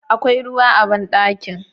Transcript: Akwai ruwa a banɗakin?